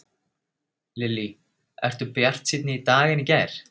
Lillý: Ertu bjartsýnni í dag en í gær?